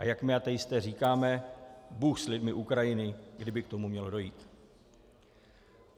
A jak my ateisté říkáme - bůh s lidmi Ukrajiny, kdyby k tomu mělo dojít.